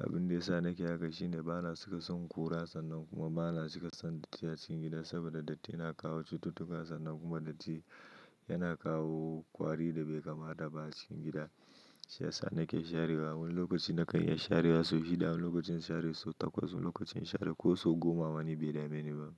Abin da ya sa nake haka shine bana cika son ƙura sannan kuma bana cika son datti a cikin gida saboda datti yana kawo cututtuka sannan kuma datti yana kawo kwari da bai kama da ba a cikin gida. Shi ya sa nake sharewa. Wani lokaci na kan iya sharewa sau shida, wani lokacin share sau takwas, wani lokacin share ko sau goma wani bede mai ni ba.